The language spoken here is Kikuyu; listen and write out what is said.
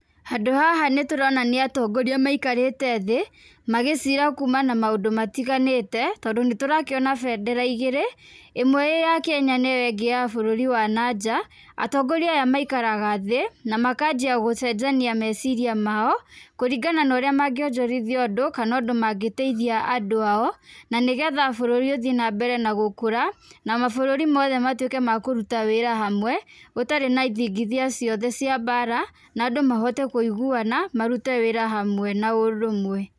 Handũ haha nĩ tũrona nĩ atongoria maikarĩte thĩ, magĩciira kũmana na maũndũ matiganĩte tondũ nĩ tũrakĩona bendera igĩrĩ, ĩmwe ĩĩ ya Kenya na ĩyo ingĩ ya bũrũri wa na nja, atongoria aya maikaraga thĩ, na makanjia gũcenjania meciria mao, kũringana na ũrĩa mangĩonjorithia ũndũ kana ũndũ mangĩteithia andũ ao, na nĩ getha bũrũri ũthiĩ na mbere na gũkũra, na mabũrũri mothe matuĩke ma kũruta wĩra hamwe, gũtarĩ na ithingithia ciothe cia mbara na andũ mahote kũiguana, marute wĩra hamwe na ũrũmwe.